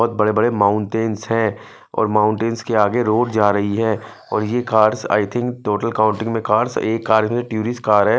बहोत बड़े बड़े मौन्टेंस है और मौटेंस के आगे रोड जा रही है और ये cars I think total countings में कार्स एक कार इसमे तिउरिस्ट कार है।